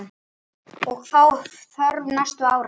Hvað þá þörf næstu ára.